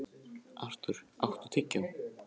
Artúr, áttu tyggjó?